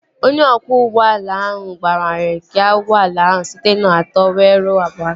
Onye ọkwọ ụgbọala ahụ gbanwere gịa ụgbọala ahụ site na atọ wee ruo abụọ